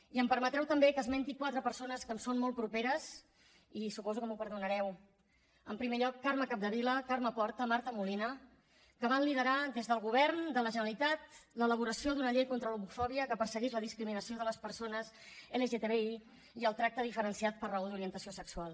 i em permetreu també que esmenti quatre persones que em són molt properes i suposo que m’ho perdonareu en primer lloc carme capdevila carme porta marta molina que van liderar des del govern de la generalitat l’elaboració d’una llei contra l’homofòbia que perseguís la discriminació de les persones lgtbi i el tracte diferenciat per raó d’orientació sexual